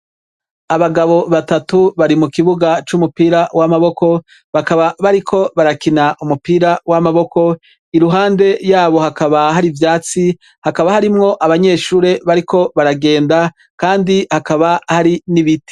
Abagabo batatu bari mu kibuga c'umupira w'amaboko. Bakaba bari ko barakina umupira w'amaboko iruhande yabo hakaba hari ivyatsi hakaba hari mwo abanyeshure bariko baragenda kandi hakaba hari n'ibiti.